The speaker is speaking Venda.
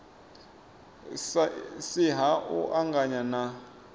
si ha u anganya na